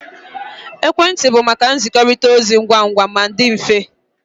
Ekwentị bụ maka nzikọrịta ozi ngwa ngwa ma dị mfe